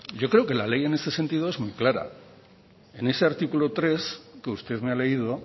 yo creo que la ley en este sentido es muy clara en ese artículo tres que usted me ha leído